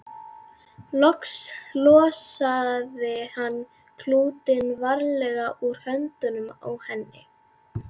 Loks losaði hann klútinn varlega úr höndunum á henni.